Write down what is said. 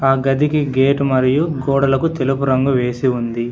ఆ గదికి గేటు మరియు గోడలకు తెలుపు రంగు వేసి ఉంది.